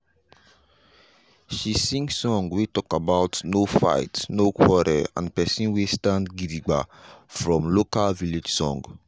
she sing song wey talk about no fight no quarrel and pesin wey stand gidigba from local village song.